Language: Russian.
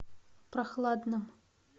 прохладном